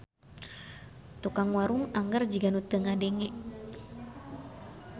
Tukang warung angger jiga nu teu ngadenge.